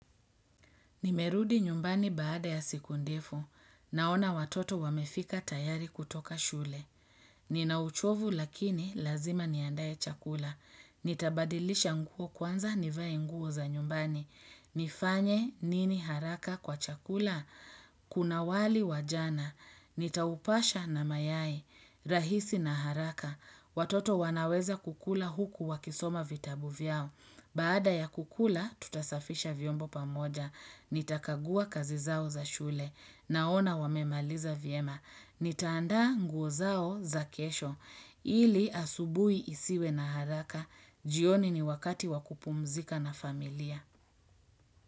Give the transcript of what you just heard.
Nimerudi nyumbani baada ya siku ndefu. Naona watoto wamefika tayari kutoka shule. Ninauchovu lakini lazima niandae chakula. Nitabadilisha nguo kwanza nivae nguo za nyumbani. Nifanye nini haraka kwa chakula? Kuna wali wa jana. Nitaupasha na mayai. Rahisi na haraka. Watoto wanaweza kukula huku wakisoma vitabu vyao. Baada ya kukula, tutasafisha vyombo pamoja. Nitakagua kazi zao za shule, naona wamemaliza vyema. Nitaanda nguo zao za kesho, ili asubuhi hisiwe na haraka, jioni ni wakati wa kupumzika na familia.